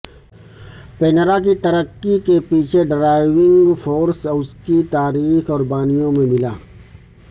Panera کی ترقی کے پیچھے ڈرائیونگ فورس اس کی تاریخ اور بانیوں میں ملا